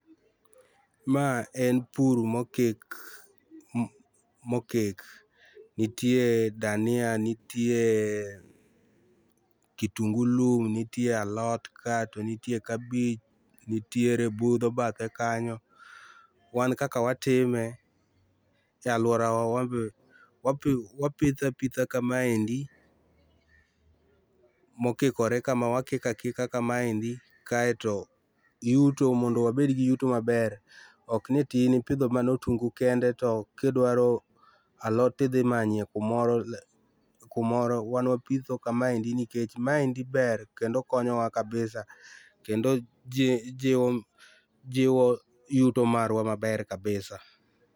Maa en pur mokik, mokik. Nitie dania nitie kitungu lum, nitie alot kaa to nitie kabich nitiere budho bathe kanyo. Wan kaka watime e aluorawa wan be wapi, wapitho apitha kamaendi mokikore kamaa wakiko akika kamaendi kaeto yuto mondo wabed gi yuto maber okni toin ipidho mana otungu kende to kidwaro alot tidhi manyo kumoro, kumoro wan wapitho kamaendi nikech maendi ber kendo konyowa kabisa kendo jiwo, jiwo yuto marwa maber kabisa.